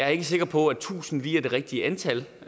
er sikker på at tusind lige er det rigtige antal